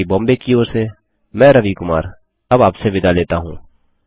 IIT Bombay की ओर से मैं रवि कुमार अब आपसे विदा लेता हूँ